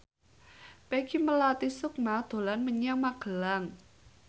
Peggy Melati Sukma dolan menyang Magelang